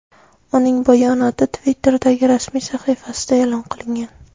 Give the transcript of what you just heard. Uning bayonoti Twitter’dagi rasmiy sahifasida e’lon qilingan .